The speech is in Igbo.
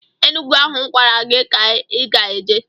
Enugu ahụ m gwara gị ka ị ga-eje!